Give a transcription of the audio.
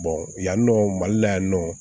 yan nɔ mali la yan nɔ